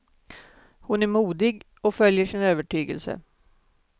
Hon är modig och följer sin övertygelse.